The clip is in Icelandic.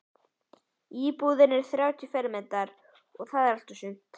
Íbúðin er þrjátíu fermetrar- það er allt og sumt.